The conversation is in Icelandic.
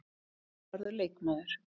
Það verður leikmaður.